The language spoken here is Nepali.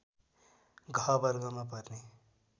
घ वर्गमा पर्ने